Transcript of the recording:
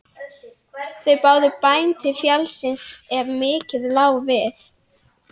Þeir báðu bæn til fjallsins ef mikið lá við.